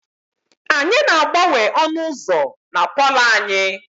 Anyị na-agbanwe ọnụ ụzọ na palọ anyị.